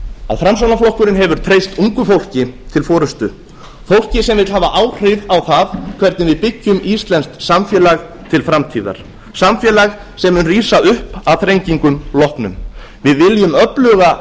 að framsóknarflokkurinn hefur treyst ungu fólki til forustu fólki sem vill hafa áhrif á það hvernig við byggjum íslenskt samfélag til framtíðar samfélag sem mun rísa upp að þrengingum loknum við viljum öfluga